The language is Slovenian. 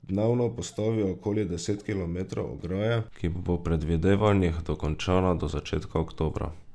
Dnevno postavijo okoli deset kilometrov ograje, ki bo po predvidevanjih dokončana do začetka oktobra.